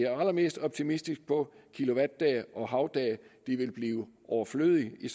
allermest optimistisk på at kilowattdage og havdage vil blive overflødige i